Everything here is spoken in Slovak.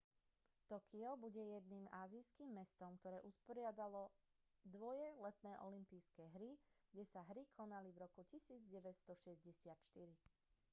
tokio bude jediným ázijským mestom ktoré usporiadalo dvoje letné olympijské hry kde sa hry konali v roku 1964